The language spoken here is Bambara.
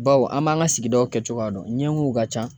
Bawo an b'an ka sigidaw kɛcogoya dɔn ɲɛŋiw ka ca.